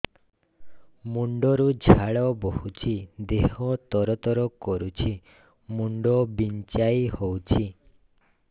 ମୁଣ୍ଡ ରୁ ଝାଳ ବହୁଛି ଦେହ ତର ତର କରୁଛି ମୁଣ୍ଡ ବିଞ୍ଛାଇ ହଉଛି